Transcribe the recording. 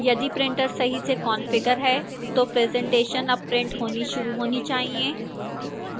यदि printer सही से कंफिगर है तो presentation अब printer होनी शुरू होनी चाहिए